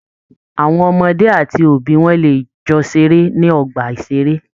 Àwọn ọmọdé àti òbí wọn lè jọ ṣeré ní ọgbà-ìṣeré